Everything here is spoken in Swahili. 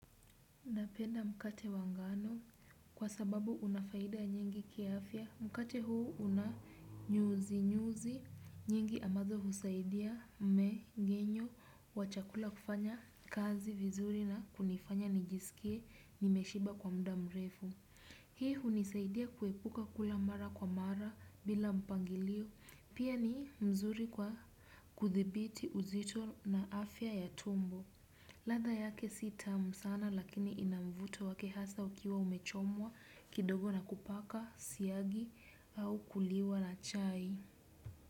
Napenda mkate wa ngano kwa sababu unafaida nyingi kiafya. Mkate huu una nyuzi nyuzi nyingi ambazo husaidia mmengenyo wa chakula kufanya kazi vizuri na kunifanya nijisikie nimeshiba kwa muda mrefu. Hii hunisaidia kuepuka kula mara kwa mara bila mpangilio. Pia ni mzuri kwa kuthibiti uzito na afya ya tumbo. Ladha yake si tamu sana lakini inamvuto wake hasa ukiwa umechomwa kidogo na kupaka siyagi au kuliwa na chai.